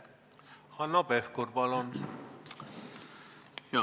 Hanno Pevkur, palun!